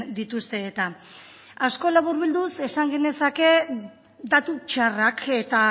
dituzte eta asko laburbilduz esan genezake datu txarrak eta